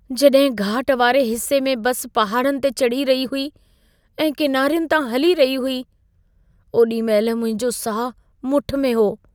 जॾहिं घाट वारे हिस्से में बस पहाड़नि ते चढ़ी रही हुई ऐं किनारियुनि तां हली रही हुई, ओॾी महिल मुंहिंजो साहु मुठि में हो।